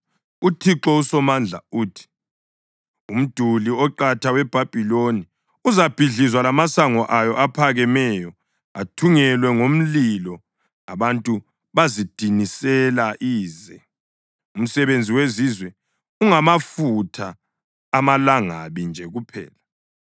UThixo uSomandla uthi: “Umduli oqatha weBhabhiloni uzabhidlizwa lamasango ayo aphakemeyo athungelwe ngomlilo; abantu bazidinisela ize, umsebenzi wezizwe ungamafutha amalangabi nje kuphela.”